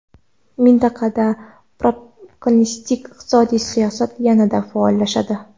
Mintaqada proteksionist iqtisodiy siyosat yana faollashadi.